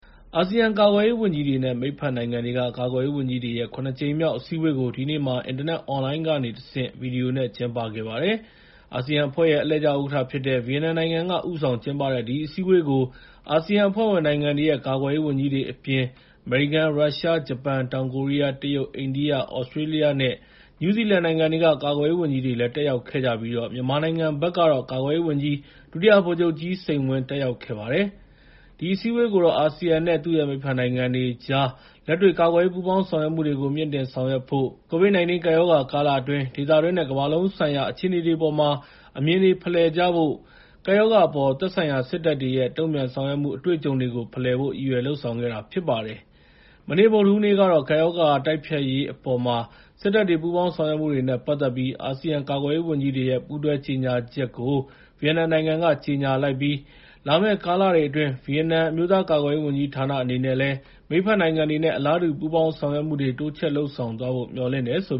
အာဆီယံကာကွယ်ရေးဝန်ကြီးတွေနဲ့ မိတ်ဖက်နိုင်ငံတွေက ကာကွယ်ရေးဝန်ကြီးတွေရဲ့ ၇ ကြိမ်မြောက် အစည်းအဝေး (ADMM+) ကို ဒီနေ့မှာ အင်တာနက် အွန်လိုင်းကနေတဆင့် ကျင်းပခဲ့ပါတယ်။ အာဆီယံအဖွဲ့ရဲ့ အလှည့်ကျဥက္ကဋ္ဌဖြစ်တဲ့ ဗီယက်နမ်နိုင်ငံက ဦးဆောင်ကျင်းပတဲ့ ဒီအစည်းအဝေးကို အာဆီယံအဖွဲ့ဝင်နိုင်ငံတွေရဲ့ ကာကွယ်ရေးဝန်ကြီးတွေအပြင် အမေရိကန်၊ ရုရှား၊ ဂျပန်၊ တောင်ကိုရီးယား၊ တရုတ်၊ အိန္ဒိယ၊ သြစတြေးလျနဲ့ နယူးဇီလန်နိုင်ငံတွေက ကာကွယ်ရေးဝန်ကြီးတွေလည်း တက်ရောက်ခဲ့ကြပြီး မြန်မာနိုင်ငံကတော့ ကာကွယ်ရေးဝန်ကြီး ဒုတိယ ဗိုလ်ချုပ်ကြီးစိန်ဝင်း တက်ရောက်ခဲ့ပါတယ်။ ဒီအစည်းအဝေးကိုတော့ အာဆီယံနဲ့ သူ့ရဲ့မိတ်ဖက်နိုငံတွေကြား လက်တွေ့ကာကွယ်ရေး ပူးပေါင်းဆောင်ရွက်မှုတွေကို မြှင့်တင်ဆောင်ရွက်ဖို့၊ ကိုဗစ် ၁၉ ကပ်ရောဂါကာလအတွင်း ဒေသတွင်းနဲ့ ကမ္ဘာလုံးဆိုင်ရာ အခြေအနေတွေအပေါ်မှာ အမြင်တွေ ဖလှယ်ဖို့၊ ကပ်ရောဂါအပေါ် သက်ဆိုင်ရာစစ်တပ်တွေရဲ့ တုံ့ပြန်ဆောင်ရွက်မှု အတွေ့အကြုံတွေကို ဖလှယ်ဖို့ ရည်ရွယ်လုပ်ဆောင်ခဲ့တာဖြစ်ပါတယ်။ မနေ့ ဗုဒ္ဓဟူးနေ့ကတော့ ကပ်ရောဂါတိုက်ဖျက်ရေးအပေါ် စစ်တပ်တွေရဲ့ ပူးပေါင်းဆောင်ရွက်မှုတွေနဲ့ပတ်သက်ပြီး အာဆီယံကာကွယ်ရေးဝန်ကြီးတွေရဲ့ ပူးတွဲကြေငြာချက်ကို ဗီယက်နမ်နိုင်ငံက ထုတ်ပြန်ခဲ့ပါတယ်။ လာမယ့် ကာလအတွင်း ဗီယက်နမ် အမျိုးသားကာကွယ်ရေးဝန်ကြီးဌာနအနေနဲ့လည်း မိတ်ဖက်နိုင်ငံတွေနဲ့ အလားတူပူးပေါင်းဆောင်ရွက်မှုတွေကို တိုးချ့ဲလုပ်ဆောင်သွားဖို့ မျှော်လင့်တယ်လို့